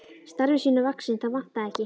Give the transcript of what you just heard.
Starfi sínu vaxinn, það vantaði ekki.